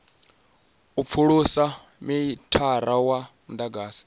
u pfulusa mithara wa mudagasi